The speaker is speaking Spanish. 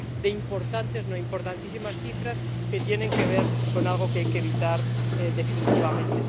de importantísimas cifras que tienen que ver con algo que hay que evitar definitivamente.